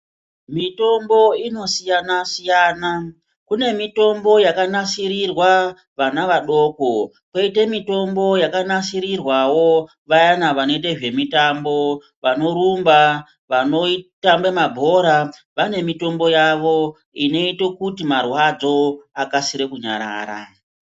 Mitombo inosiyana siyana kune mitombo yakanasirirwa vana vadoko koite mitombo yakanasirirwa vayana vanoite zvemitambo vanorumba vanotambe mabhora vane mitombo yavo inoita kuti marwadzo akasire kunyarara.